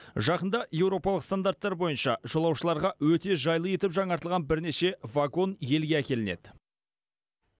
жақында еуропалық стандарттар бойынша жолаушыларға өте жайлы етіп жаңартылған бірнеше вагон елге әкелінеді